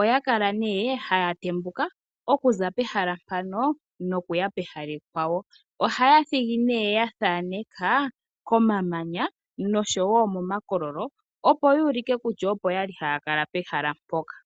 Oya kala ne haya tambuka okuza pehalo mpano nokuya pehala ekwawo. Ohaya thigi ne ya thaneka komamanya noshowo momakololo opo yuulike kutya opo yali hayakala pehala mpoka.